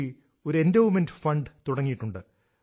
T ഒരു endowment fund തുടങ്ങിയിട്ടുണ്ട്